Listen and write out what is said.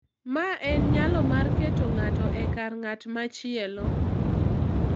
Ma en nyalo mar keto ng’ato e kar ng’at machielo.